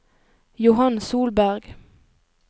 Johan Solberg